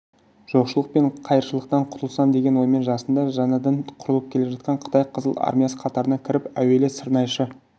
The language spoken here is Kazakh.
жоқшылық пен қайыршылықтан құтылсам деген оймен жасында жаңадан құрылып келе жатқан қытай қызыл армиясы қатарына кіріп әуелі сырнайшы